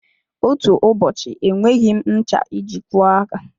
Otú ụbọchị enweghị m ncha iji kwọọ aka.